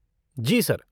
जी sir.